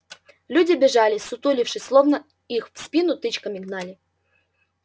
люди бежали ссутулившись словно их в спину тычками гнали